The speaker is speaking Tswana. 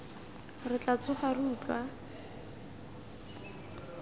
re tla tsoga re utlwa